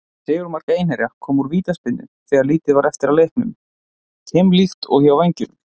Sigurmark Einherja kom úr vítaspyrnu þegar lítið var eftir af leiknum, keimlíkt og hjá Vængjum.